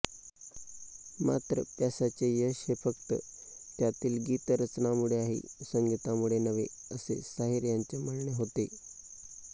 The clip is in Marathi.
मात्र प्यासाचे यश हे फक्त त्यातील गीतरचनांमुळे आहे संगीतामुळे नव्हे असे साहिर यांचे म्हणणे होते